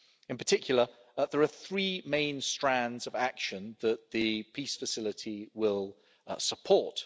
In particular there are three main strands of action that the Peace Facility will support.